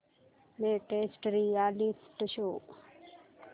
latest reality show